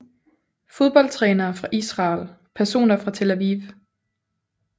Fodboldtrænere fra Israel Personer fra Tel Aviv